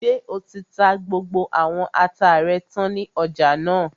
Ṣé o ti ta gbogbo àwọn ata rẹ tán ní ọjà náà?